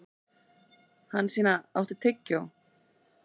Hansína, áttu tyggjó?